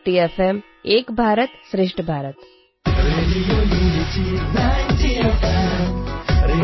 radio unity ninety F